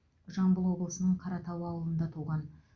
жамбыл облысының қаратау ауылында туған